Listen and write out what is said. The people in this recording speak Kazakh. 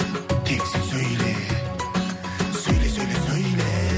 тек сен сөйле сөйле сөйле сөйле